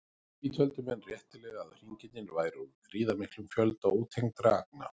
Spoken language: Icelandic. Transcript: Því töldu menn réttilega að hringirnir væru úr gríðarmiklum fjölda ótengdra agna.